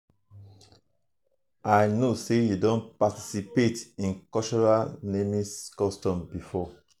i um know say you don participate in cultural naming customs before.